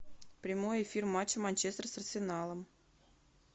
прямой эфир матча манчестер с арсеналом